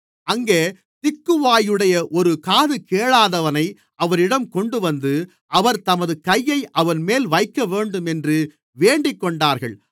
அங்கே திக்குவாயுடைய ஒரு காதுகேளாதவனை அவரிடம் கொண்டுவந்து அவர் தமது கையை அவன்மேல் வைக்கவேண்டும் என்று வேண்டிக்கொண்டார்கள்